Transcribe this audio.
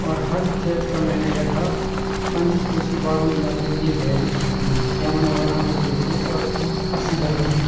और हर चैत का मैना यखा पंचकोशी वरुण यात्रा ये भैर होंदी यमा वरुणा नदी बीटी और अस्सी गंगा तें।